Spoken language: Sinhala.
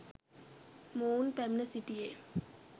මොවුන් පැමිණ සිටියේ